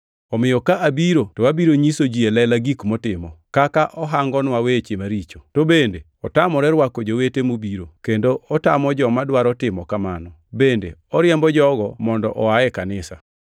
Omiyo ka abiro to abiro nyiso ji e lela gik motimo; kaka ohangonwa weche maricho. To bende otamore rwako jowete mobiro, kendo otamo joma dwaro timo kamano, bende oriembo jogo mondo oa e kanisa.